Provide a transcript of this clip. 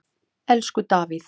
Elsku Davíð.